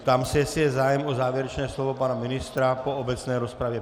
Ptám se, jestli je zájem o závěrečné slovo pana ministra po obecné rozpravě.